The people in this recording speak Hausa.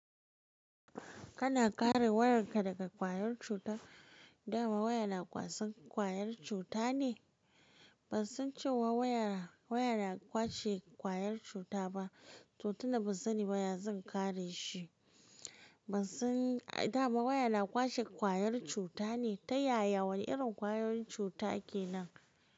Kana kare wayarka daga ƙwayar cuta? Dama waya na kwasan ƙwayar cuta ne? Ban san cewa waya, waya na kwashe ƙwayar cuta ba. To tunda ban sani ba ya zan kare shi. Ban san, dama waya na kwashe ƙwayar cuta ne? Ta yaya? Wane irin ƙwayoyin cuta kenan?